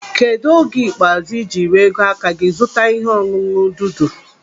Kedụ oge ikpeazụ ị jiri ego aka gị zụta ihe ọṅụṅụ dudu?